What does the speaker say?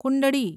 કુંડળી